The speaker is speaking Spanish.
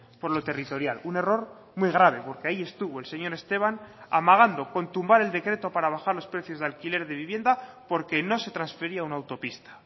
por lo territorial un error muy grave porque ahí estuvo el señor esteban amagando con tumbar el decreto para bajar los precios de alquiler de vivienda porque no se transfería una autopista